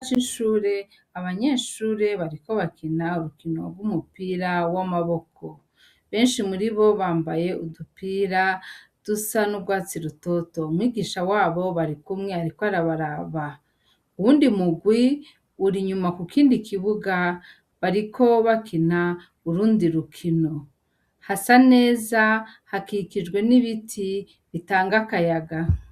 Ikibuga cishure abanyeshure bariko bakina urukino rwumupira wamaboko benshi muribo bambaye udupira dusanurwatsi rutoto umwigisha wabo arikumwe ariko araba uwundi murwi urinyuma kukindi kibuga bariko bakina urundi rukino hasa neza hakikijwe nibiti bitanga akayaga